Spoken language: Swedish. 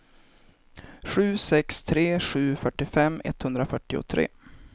sju sex tre sju fyrtiofem etthundrafyrtiotre